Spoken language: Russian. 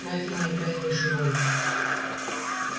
но это не играет большой роли